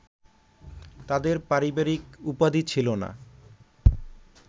তাদের পারিবারিক উপাধি ছিল না